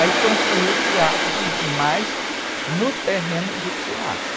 Aí construiu o teatro, mas no terreno do teatro.